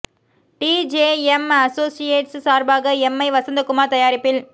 D J M associates சார்பாக M I Vasanthakumar தயாரிப்பில்